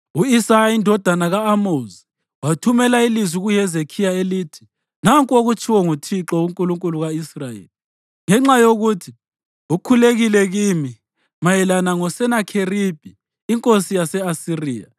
U-Isaya indodana ka-Amozi wathumela ilizwi kuHezekhiya elithi, “Nanku okutshiwo nguThixo, uNkulunkulu ka-Israyeli: Ngenxa yokuthi ukhulekile kimi mayelana ngoSenakheribhi inkosi yase-Asiriya,